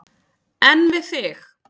En við þig?